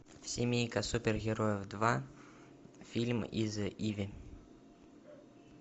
семейка супергероев два фильм из иви